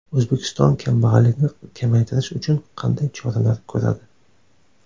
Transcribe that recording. O‘zbekiston kambag‘allikni kamaytirish uchun qanday choralar ko‘radi?